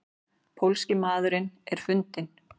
Pólski maðurinn er fundinn?